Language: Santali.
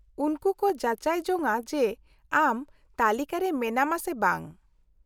-ᱩᱱᱠᱩ ᱠᱚ ᱡᱟᱪᱟᱭ ᱡᱚᱧᱟ ᱡᱮ ᱟᱢ ᱛᱟᱹᱞᱤᱠᱟ ᱨᱮ ᱢᱮᱱᱟᱢᱟ ᱥᱮ ᱵᱟᱝ ᱾